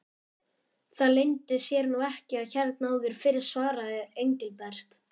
Það leyndi sér nú ekki hérna áður fyrr svaraði Engilbert.